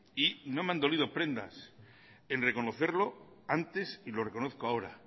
y no me han dolido prendas en reconocerlo antes y lo reconozco ahora